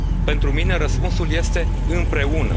răspuns. Pentru mine răspunsul este